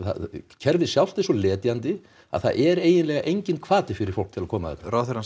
kerfið sjálft er svo letjandi að það er eiginlega enginn hvati fyrir fólk til að koma ráðherrann